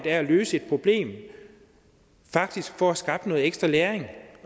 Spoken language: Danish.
af at løse et problem faktisk får skabt noget ekstra læring